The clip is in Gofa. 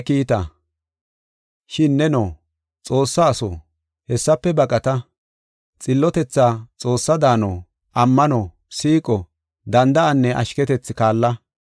Shin neno, Xoossa aso, hessafe baqata. Xillotethaa, Xoossaa daano, ammano, siiqo, danda7anne ashketethi kaalla.